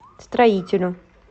строителю